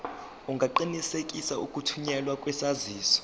ungaqinisekisa ukuthunyelwa kwesaziso